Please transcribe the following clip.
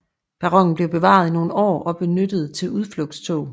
Perronen blev bevaret i nogle år og benyttet til udflugtstog